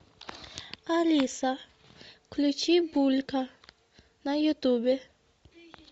алиса включи булька на ютубе